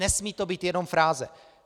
Nesmí to být jenom fráze.